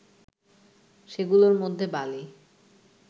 সেগুলোর মধ্যে বালি